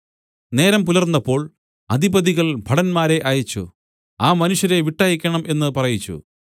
നേരം പുലർന്നപ്പോൾ അധിപതികൾ ഭടന്മാരെ അയച്ചു ആ മനുഷ്യരെ വിട്ടയയ്ക്കണം എന്ന് പറയിച്ചു